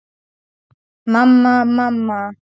Mamma, mamma.